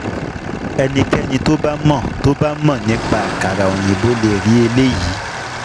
Ẹnikẹ́ni tó bá mọ tó bá mọ nípa àkàrà òyìnbó le rí eléyìí.